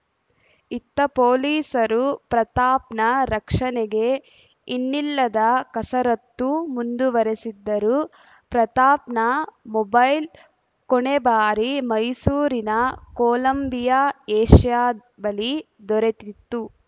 ಇತ್ತ ಪೊಲೀಸರು ಪ್ರತಾಪ್‌ನ ರಕ್ಷಣೆಗೆ ಇನ್ನಿಲ್ಲದ ಕಸರತ್ತು ಮುಂದುವರೆಸಿದ್ದರು ಪ್ರತಾಪ್‌ನ ಮೊಬೈಲ್‌ ಕೊನೆ ಬಾರಿ ಮೈಸೂರಿನ ಕೊಲಂಬಿಯಾ ಏಷ್ಯಾ ಬಳಿ ದೊರೆತಿತ್ತು